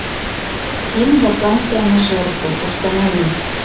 фильм вакансия на жертву установи